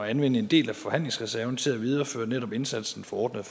anvende en del af forhandlingsreserven til at videreføre netop indsatsen for ordnede